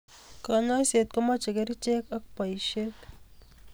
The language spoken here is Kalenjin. Kanyoiset komeche kerichek ak boishet.